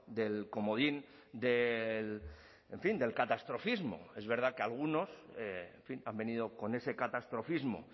del comodín del en fin del catastrofismo es verdad que algunos en fin han venido con ese catastrofismo